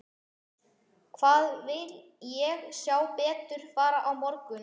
Hvað vil ég sjá betur fara á morgun?